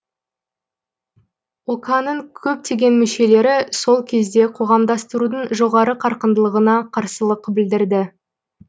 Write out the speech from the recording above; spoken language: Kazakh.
ока ның көптеген мүшелері сол кезде қоғамдастырудың жоғары қарқындылығына қарсылық білдірді